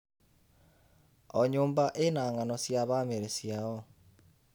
O nyũmba ĩna ng'ano cia bamĩrĩ ciao.